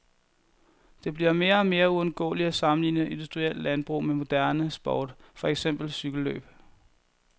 Det bliver mere og mere uundgåeligt at sammenligne industrielt landbrug med moderne sport, for eksempel cykellløb.